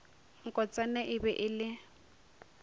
nkotsana e be e le